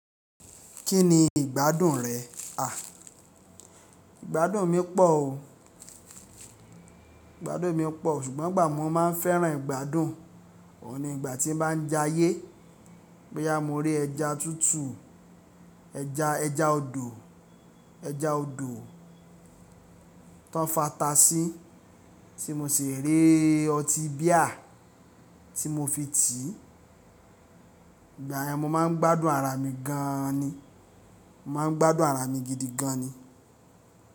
Kí ni ìgbádùn rẹ̀? À, ìgbádùn mi pọ̀ o. Ìgbádùn mi pọ̀ ṣùgbọ́n ìgbà mo má a ń fẹ́ràn ìgbádùn? Òun ni ìgbà tí n bá ń jayé, bóyá mo rí ẹja tútù, ẹja, ẹja odò, ẹja odò tí wọ́n fi ata sí tí mo sì rí ọtí bíà tí mo fi tiì, ìgbà yẹn mo máa ń gbádùn ara mi gan ni. Mò máa ń gbádùn ara mi gidi gan ni.